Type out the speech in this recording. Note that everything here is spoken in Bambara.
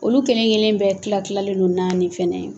Olu kelen kelen bɛɛ kila kilalen don naani fɛnɛ